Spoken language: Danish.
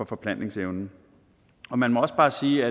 forplantningsevnen man må også bare sige